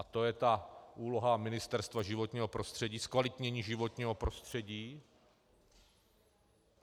A to je ta úloha Ministerstva životního prostředí, zkvalitnění životního prostředí.